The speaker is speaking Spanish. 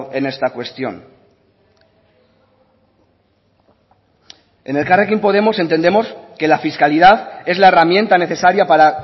en esta cuestión en elkarrekin podemos entendemos que la fiscalidad es la herramienta necesaria para